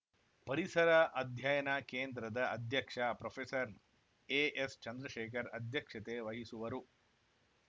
ಪರಿಸರ ಅಧ್ಯಯನ ಕೇಂದ್ರದ ಅಧ್ಯಕ್ಷ ಪ್ರೊಫೆಸರ್ಎಎಸ್‌ಚಂದ್ರಶೇಖರ್‌ ಅಧ್ಯಕ್ಷತೆ ವಹಿಸುವರು